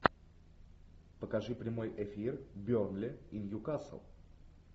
покажи прямой эфир бернли и ньюкасл